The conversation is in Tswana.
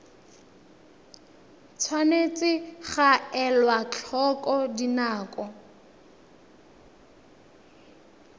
tshwanetse ga elwa tlhoko dinako